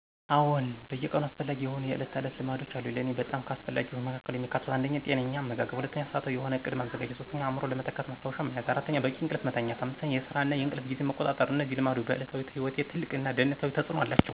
አዎን በየቀኑ አስፈላጊ የሆኑ የዕለት ተዕለት ልማዶች አሉኝ። ለእኔ በጣም ከአስፈላጊዎቹ መካከል የሚካተቱት 1. ጤናማ አመጋገብ 2. ሰዓታዊ የሆነ ዕቅድ ማዘጋጀት 3. አእምሮን ለመተካት ማስታወሻ መያዝ 4. በቂ እንቅልፍ መተኛት 5. የስራ እና የእንቅልፍ ጊዜን መቆጣጠር እነዚህ ልማዶች በዕለታዊ ሕይወቴ ትልቅ እና ደህንነታዊ ተፅእኖ አላቸው።